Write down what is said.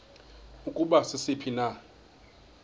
ukuba sisiphi na